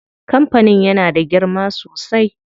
Kampanin yana da girma sosai.